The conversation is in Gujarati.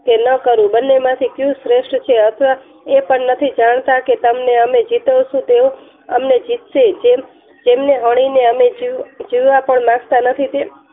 કે ન કરવું બંને માંથી ક્યુ શ્રેષ્ઠ છે. અથવા એ પણ નથી જાણતા કે તમને અમે જીતીશું કે તેઓ અમને જીતશે જેમ ને હણીને અમે જીવવા પણ માંગતા નથી તે